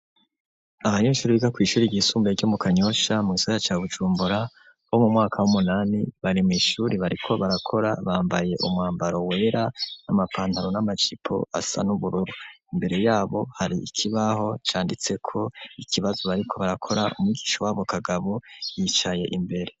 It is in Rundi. Abanyeshure bo kw'ishure ryisumbuye ryo mu Kanyosha mu gisagara ca Bujumbura, bo mu mwaka w'umunani, bari mw'ishuri bariko barakora, bambaye umwambaro wera, n'amapantaro n'amajipo asa n'ubururu. Imbere yabo hari ikibaho canditseko ikibazo bariko barakora, umwigisha wabo Kagabo yicaye imbere.